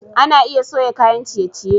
Ana iya soya kayan ciye-ciye.